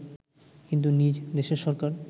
কিন্তু নিজ দেশের সরকার